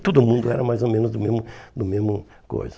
E todo mundo era mais ou menos do mesmo do mesmo coisa.